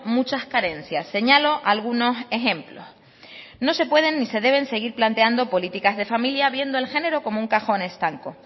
muchas carencias señalo algunos ejemplos no se pueden ni se deben seguir planteando políticas de familia viendo el género como un cajón estanco